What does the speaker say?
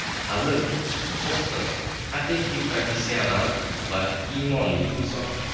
Hazil, Oston haqiqiy professional va iymonli inson.